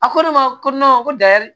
A ko ne ma ko ko dayɛlɛ